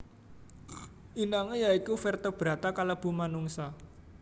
Inangé ya iku vertebrata kalebu manungsa